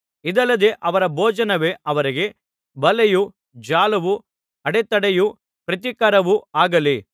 ಇದಲ್ಲದೆ ಅವರ ಭೋಜನವೇ ಅವರಿಗೆ ಬಲೆಯೂ ಜಾಲವೂ ಅಡೆತಡೆಯೂ ಪ್ರತಿಕಾರವೂ ಆಗಲಿ